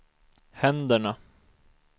händerna